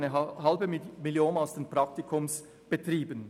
Weitere 0,5 Mio. Franken steuern die Praktikumsbetriebe bei.